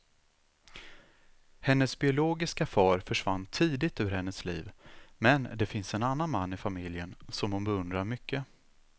Hennes biologiska far försvann tidigt ur hennes liv, men det finns en annan man i familjen som hon beundrar mycket.